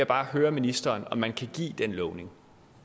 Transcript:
bare høre ministeren om man kan give den lovning